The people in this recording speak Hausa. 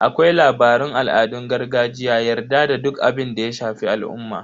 Akwai labaran al'adun gargajiya, yarda da duk abinda ya shafi al'umma.